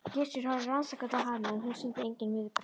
Gissur horfði rannsakandi á hana en hún sýndi engin viðbrögð.